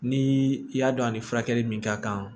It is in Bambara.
Ni i y'a dɔn a ni furakɛli min ka kan